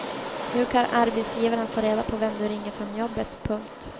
Nu kan arbetsgivaren få reda på vem du ringer från jobbet. punkt